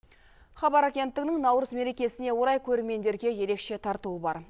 хабар агенттігінің наурыз мерекесіне орай көрермендерге ерекше тартуы бар